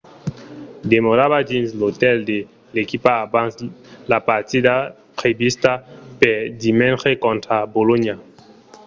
demorava dins l'otèl de l'equipa abans la partida prevista per dimenge contra bolonha